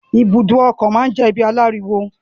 ibùdó ọkọ̀ máa n jẹ ibi àláriwo.